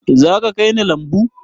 Zaka kai ni lambu?